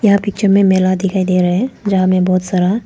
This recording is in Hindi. यह पिक्चर में मेला दिखाई दे रहा है जहां में बहोत सारा--